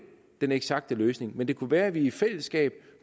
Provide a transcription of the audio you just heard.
den eksakte løsning men det kunne være at vi i fællesskab